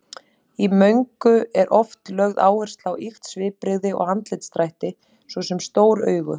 Í möngu er oft lögð áhersla á ýkt svipbrigði og andlitsdrætti, svo sem stór augu.